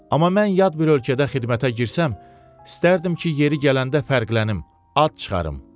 Amma mən yad bir ölkədə xidmətə girsəm, istərdim ki, yeri gələndə fərqlənim, ad çıxarım.